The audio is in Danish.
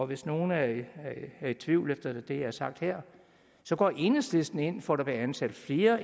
hvis nogen er i tvivl efter det jeg har sagt her så går enhedslisten ind for at der bliver ansat flere